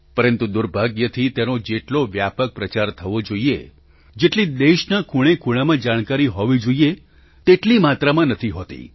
પરંતુ દુર્ભાગ્યથી તેનો જેટલો વ્યાપક પ્રચાર થવો જોઈએ જેટલી દેશના ખૂણે ખૂણામાં જાણકારી હોવી જોઈએ તેટલી માત્રામાં નથી હોતી